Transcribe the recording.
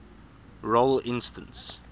role instance